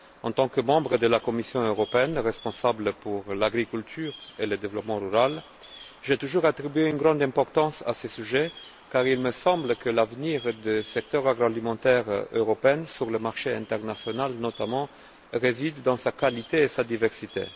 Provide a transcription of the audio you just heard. En tant que membre de la Commission européenne responsable de l'agriculture et du développement rural, j'ai toujours attribué une grande importance à ce sujet, car il me semble que l'avenir du secteur agroalimentaire européen, notamment sur le marché international, réside dans sa qualité et sa diversité.